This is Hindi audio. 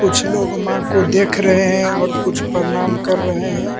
कुछ लोग मां को देख रहे हैं और कुछ प्रणाम कर रहे हैं।